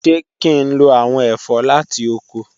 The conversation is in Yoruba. Ṣe ki n lo awọn ẹfọ lati oko?